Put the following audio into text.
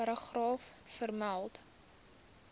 paragraaf vermeld